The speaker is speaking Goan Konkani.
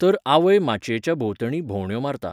तर आवय माचयेच्या भोंवतणीॆं भोंवंड्यो मारता.